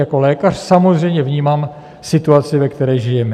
Jako lékař samozřejmě vnímám situaci, ve které žijeme.